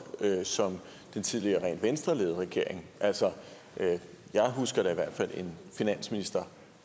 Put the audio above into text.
som den tidligere rent venstreledede regering altså jeg husker da i hvert fald en finansminister